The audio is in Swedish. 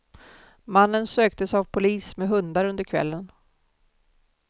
Mannen söktes av polis med hundar under kvällen.